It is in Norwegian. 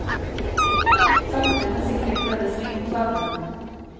Sakte, men sikkert ble det sving på sakene.